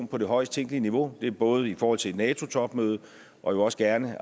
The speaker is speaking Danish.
på det højest tænkelige niveau det er både i forhold til nato topmødet og jo også gerne